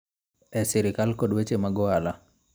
E sirkal kod weche mag ohala.